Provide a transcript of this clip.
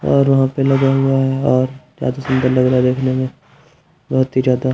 और वहाँ पे लगा हुआ है और ज्यादा सुंदर लग रहा है देखने में बहुत ही ज्यादा।